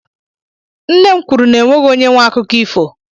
Nne m kwuru n'enweghị onye nwe akụkọ ifo.